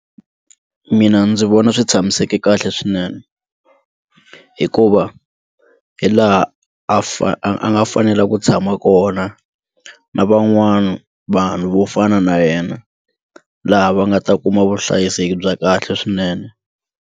Mina ndzi vona swi tshamiseke kahle swinene hikuva hilaha a a nga fanela ku tshama kona na van'wana vanhu vo fana na yena laha va nga ta kuma vuhlayiseki bya kahle swinene.